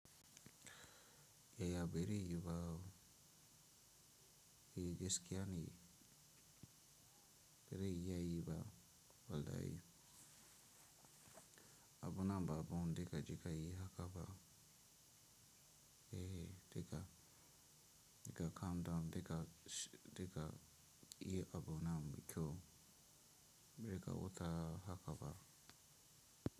Yaya bare yi ba, Eh gaskiya ne, bare iya yi ba wallahi. Abun nan ba abun diga jeka yi haka ba. Ehi diga, diga calm down diga, diga yi abun nan mai kyau, be ga wuta haka ba.